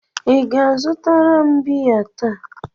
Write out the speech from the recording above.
Ị ga-azụtara m biya taa?